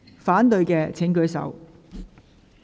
反對的請舉手。